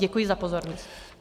Děkuji za pozornost.